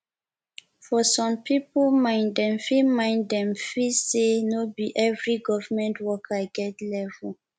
for some pipo mind dem feel mind dem feel sey no be every government worker get level